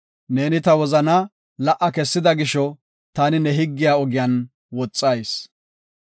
Ta wozanaa la77a kessida gisho, taani ne higgiya ogiyan woxayis.